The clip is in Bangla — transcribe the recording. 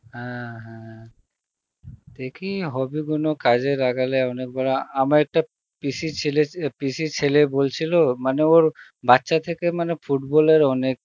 হ্যাঁ হ্যাঁ দেখি হবে কোনো কাজে লাগালে অনেক বড় আমর একটা পিসির ছেলে ছ~ পিসির ছেলে বলছিল মানে ওর বাচ্চা থেকে মানে football এর অনেক